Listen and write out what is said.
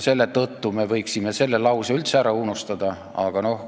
Selle tõttu me võiksime selle lause üldse ära unustada.